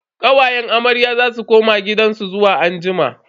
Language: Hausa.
Kawayen amarya za su koma gidansu zuwa anjima.